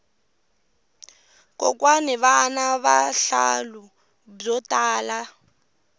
kokwani vana vuhlalu byo tala